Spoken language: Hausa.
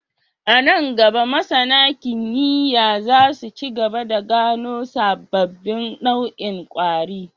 A nan gaba, masAna kimiyya za su ci gaba da gano sababbin nau'in kwari